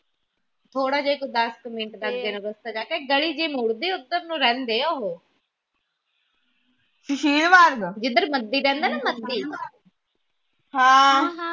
ਥੋੜ੍ਹਾ ਜਿਹਾ ਈ ਤ ਦਸ ਕ ਮਿੰਟ ਦਾ ਅੱਗੇ ਨੂੰ ਰਸਤਾ ਜਾ ਕੇ ਗਲੀ ਜੀ ਮੁੜਦੀ ਓਧਰ ਨੂੰ ਰਹਿੰਦੇ ਉਹ ਜਿੰਦਰ ਮਦੀ ਰਹਿੰਦਾ ਨਾ ਮਦੀ